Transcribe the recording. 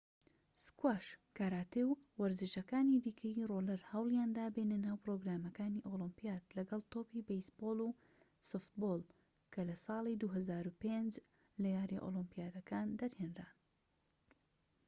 سکواش کاراتێ و وەرزشەکانی دیکەی ڕۆڵەر هەوڵیاندا بێنە ناو پرۆگرامەکانی ئۆلیمپیات لەگەڵ تۆپی بێیسبۆڵ و سۆفتبۆڵ کە لە ساڵی 2005 لە یارییە ئۆلیمپییەکان دەرهێنران